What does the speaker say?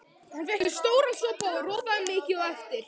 Hann fékk sér stóran sopa og ropaði mikið á eftir.